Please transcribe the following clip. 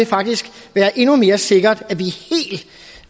faktisk være endnu mere sikkert at vi